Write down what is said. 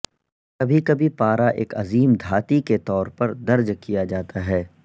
کبھی کبھی پارا ایک عظیم دھاتی کے طور پر درج کیا جاتا ہے